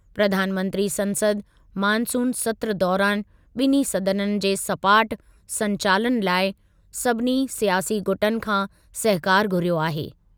प्रधानमंत्री संसद मानसून सत्रु दौरानि ॿिन्हीं सदननि जे सपाट संचालनु लाइ सभिनी स्यासी गुटनि खां सहकारु घुरियो आहे।